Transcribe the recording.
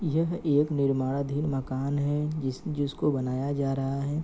यह एक निर्माणधीन मकान है जिस जिसको बनाया जा रहा है।